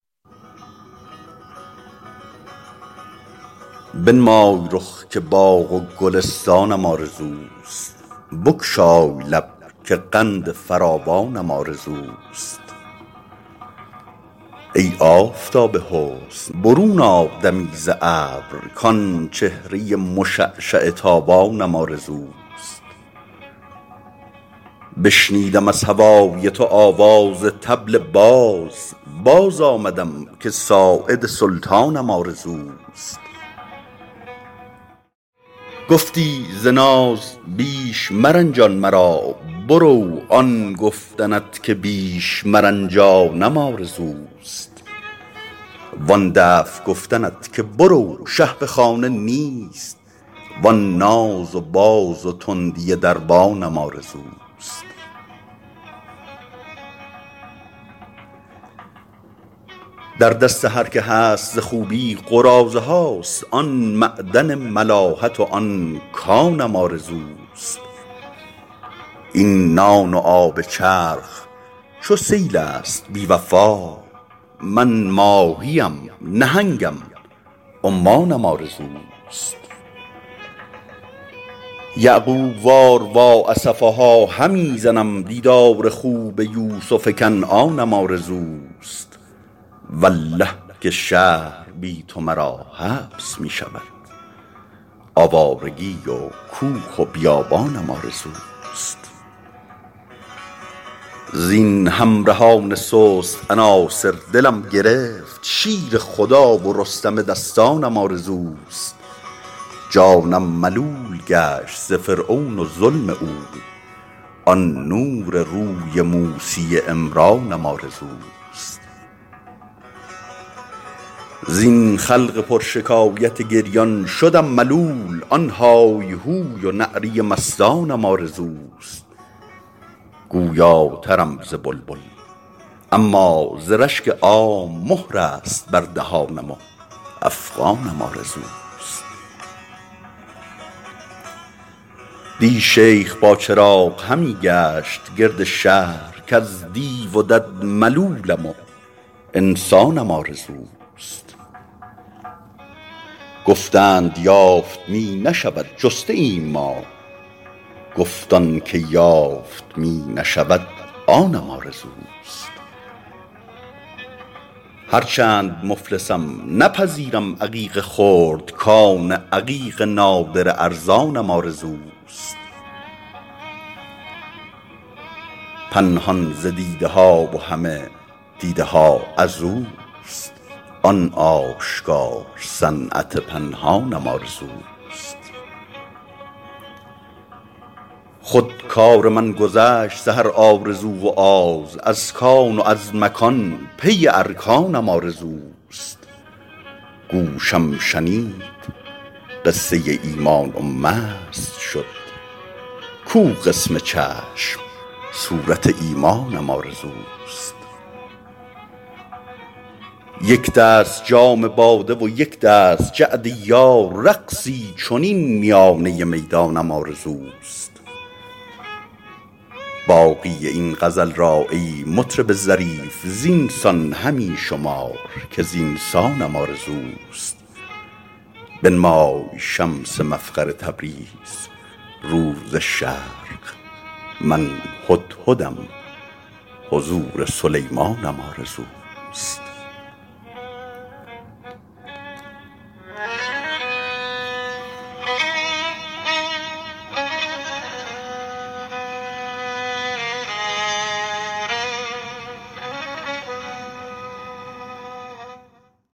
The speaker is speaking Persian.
بنمای رخ که باغ و گلستانم آرزوست بگشای لب که قند فراوانم آرزوست ای آفتاب حسن برون آ دمی ز ابر کآن چهره مشعشع تابانم آرزوست بشنودم از هوای تو آواز طبل باز باز آمدم که ساعد سلطانم آرزوست گفتی ز ناز بیش مرنجان مرا برو آن گفتنت که بیش مرنجانم آرزوست وآن دفع گفتنت که برو شه به خانه نیست وآن ناز و باز و تندی دربانم آرزوست در دست هر که هست ز خوبی قراضه هاست آن معدن ملاحت و آن کانم آرزوست این نان و آب چرخ چو سیل است بی وفا من ماهی ام نهنگم و عمانم آرزوست یعقوب وار وا اسفاها همی زنم دیدار خوب یوسف کنعانم آرزوست والله که شهر بی تو مرا حبس می شود آوارگی و کوه و بیابانم آرزوست زین همرهان سست عناصر دلم گرفت شیر خدا و رستم دستانم آرزوست جانم ملول گشت ز فرعون و ظلم او آن نور روی موسی عمرانم آرزوست زین خلق پرشکایت گریان شدم ملول آن های هوی و نعره مستانم آرزوست گویاترم ز بلبل اما ز رشک عام مهر است بر دهانم و افغانم آرزوست دی شیخ با چراغ همی گشت گرد شهر کز دیو و دد ملولم و انسانم آرزوست گفتند یافت می نشود جسته ایم ما گفت آن چه یافت می نشود آنم آرزوست هرچند مفلسم نپذیرم عقیق خرد کان عقیق نادر ارزانم آرزوست پنهان ز دیده ها و همه دیده ها از اوست آن آشکار صنعت پنهانم آرزوست خود کار من گذشت ز هر آرزو و آز از کان و از مکان پی ارکانم آرزوست گوشم شنید قصه ایمان و مست شد کو قسم چشم صورت ایمانم آرزوست یک دست جام باده و یک دست جعد یار رقصی چنین میانه میدانم آرزوست می گوید آن رباب که مردم ز انتظار دست و کنار و زخمه عثمانم آرزوست من هم رباب عشقم و عشقم ربابی است وآن لطف های زخمه رحمانم آرزوست باقی این غزل را ای مطرب ظریف زین سان همی شمار که زین سانم آرزوست بنمای شمس مفخر تبریز رو ز شرق من هدهدم حضور سلیمانم آرزوست